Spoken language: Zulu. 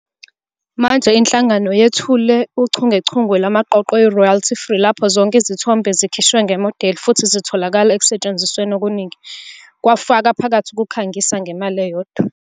Manje inhlangano yethule uchungechunge lwamaqoqo eRoyalty Free lapho zonke izithombe zikhishwe ngemodeli futhi zitholakala ekusetshenzisweni okuningi, kufaka phakathi ukukhangisa, ngemali eyodwa.